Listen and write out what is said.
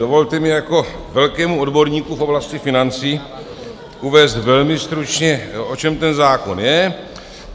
Dovolte mi jako velkému odborníku v oblasti financí uvést velmi stručně, o čem ten zákon je.